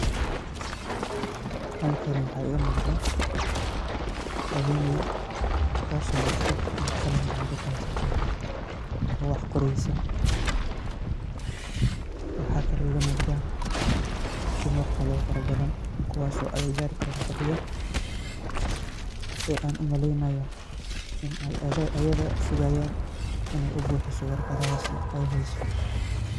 Halkan waxaa iiga muqdaa ,haweney taas oo warqad iyo qalin gacanta ku haysata oo wax qoreysa ,waxa kale oo iiga muuqda dumar kale oo fara badan kuwaas oo agagaarka ka fadhiyo ee aan u maleynayo in ay ayada sugayaan in ay u buxiso warqadahaas ay heyso.